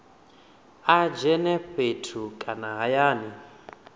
a dzhene fhethu kana hayani